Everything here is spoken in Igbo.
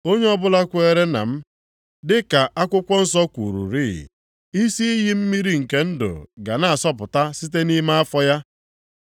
Onye ọbụla kweere na m, dị ka akwụkwọ nsọ kwururị, isi iyi mmiri nke ndụ ga na-asọpụta site nʼime afọ ya.”